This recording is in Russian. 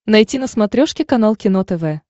найти на смотрешке канал кино тв